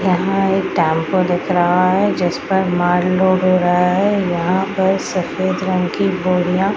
यहाँ एक टैम्पो दिख रहा है जिसपर माल लोड हो रहा है यहाँ पर सफ़ेद रंग की बोरियां --